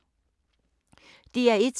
DR1